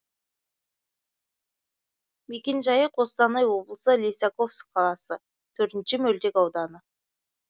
мекенжайы қостанай облысы лисаковск қаласы төртінші мөлтек ауданы